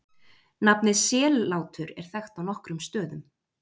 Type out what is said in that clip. Nafnið Sellátur er þekkt á nokkrum stöðum.